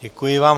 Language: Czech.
Děkuji vám.